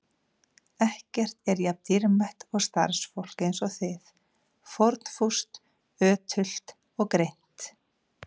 Ekkert er jafn dýrmætt og starfsfólk eins og þið: fórnfúst, ötult og greint.